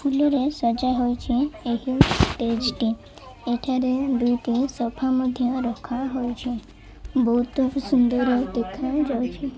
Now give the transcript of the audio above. ଫୁଲ ରେ ସଜା ହୋଇଚି ଏହି ଷ୍ଟେଜେ ଟି ଏଠାରେ ଦୁଇଟି ସୋଫା ମଧ୍ୟ ରଖାହୋଇଛି ବହୁତ ସୁନ୍ଦର ଦେଖା ଯାଉଚି।